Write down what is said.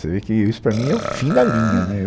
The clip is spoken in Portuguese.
Você vê que isso para mim é o fim da linha né.